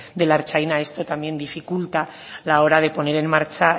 de la ertzaina esto también dificulta a la hora de poner en marcha